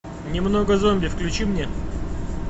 немного зомби включи мне